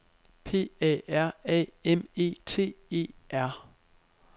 P A R A M E T E R